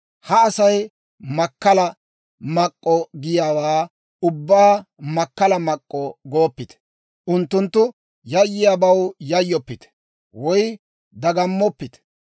«Ha Asay makkala mak'k'o giyaawaa ubbaa makkala mak'k'o gooppite; unttunttu yayyiyaabaw yayyoppite woy dagammoppite.